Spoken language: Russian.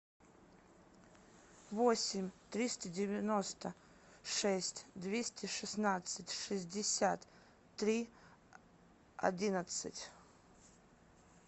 восемь триста девяносто шесть двести шестнадцать шестьдесят три одиннадцать